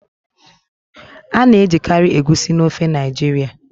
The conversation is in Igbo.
A na-ejikarị Egusi na ofe Naijiria.